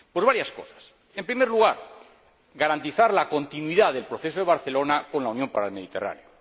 Pues varias cosas en primer lugar, garantizar la continuidad del Proceso de Barcelona con la Unión para el Mediterráneo